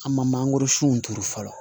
An ma mangoro sun turu fɔlɔ